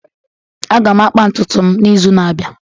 Aga m akpa ntutu m n'izu na-abịa